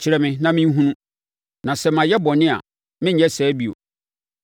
Kyerɛ me na menhunu; na sɛ mayɛ bɔne a, merenyɛ saa bio.’